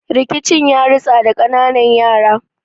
Rikicin yaritsa da kananan yara